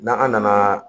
N'an an nana